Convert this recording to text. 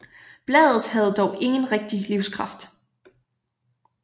Bladet havde dog ingen rigtig livskraft